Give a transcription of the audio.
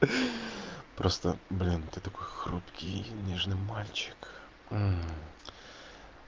ха просто блин ты такой хрупкий и нежный мальчик